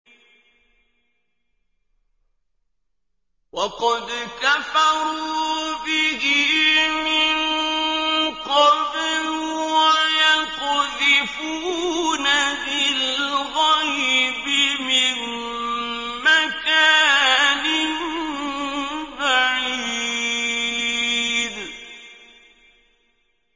وَقَدْ كَفَرُوا بِهِ مِن قَبْلُ ۖ وَيَقْذِفُونَ بِالْغَيْبِ مِن مَّكَانٍ بَعِيدٍ